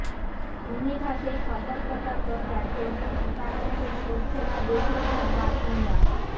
ভূমিধসের সতর্কতা প্রচার তবু সীতাকুণ্ডে সরছে না বেশির ভাগ বাসিন্দা